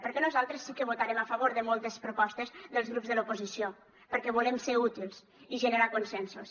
perquè nosaltres sí que votarem a favor de moltes propostes dels grups de l’oposició perquè volem ser útils i generar consensos